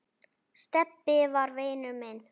Stebbi var vinur minn.